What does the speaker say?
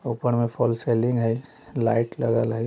ऊपर में fall ceiling है। लाइट लागल हई| --